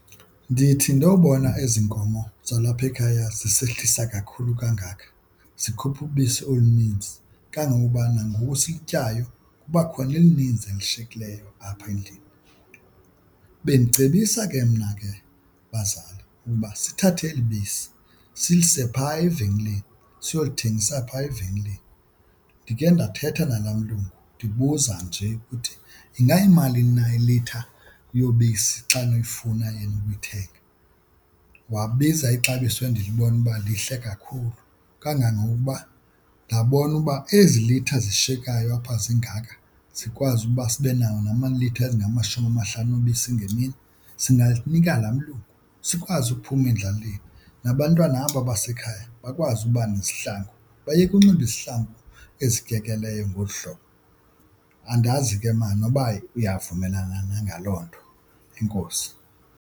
Ndithi ndobona ezi nkomo zalapha ekhaya zisehlisa kakhulu kangaka zikhupha ubisi oluninzi kangangokuba nangoku silutyayo kuba khona elininzi elishiyekileyo apha endlini. Bendicebisa ke mna ke bazali ukuba sithathe eli bisi silise phaa evenkileni siyothengisa phaa evenkileni. Ndikhe ndawuthetha nalaa mlungu ndibuza nje ukuthi ingayimalini na iilitha yobisi xa nilufuna ukulithenga. Wabiza ixabiso endilibona uba lihle kakhulu kangangokuba ndabona uba ezi litha zishiyeka nayo apha zingaka zikwazi ukuba sibe nawo namalitha ezingamashumi amahlanu obisi ngemini singalinika laa malungu sikwazi uphuma endlaleni, nabantwana aba basekhaya bakwazi uba nezihlangu bayeke unxiba izihlangu ezikekeleyo ngolu hlobo. Andazi ke ma noba uyavumelana na ngaloo nto. Enkosi.